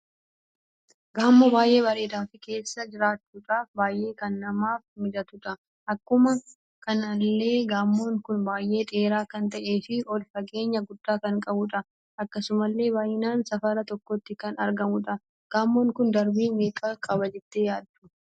Gamoo baay'ee bareeda fi keessa jiraachuudhaf baay'ee kana namaf mijatudha. Akkuma kanallee gamoon kun baay'ee dheeraa kan ta'ee fi ol fageenya gudda kan qabudha. Akkasumallee baay'inaan safara tokkotti kan argamudha. Gamoon kun darbii meeqa qaba jettani yaaddu?